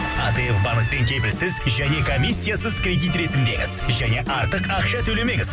атф банктен кепілсіз және комиссиясыз кредит ресімдеңіз және артық ақша төлемеңіз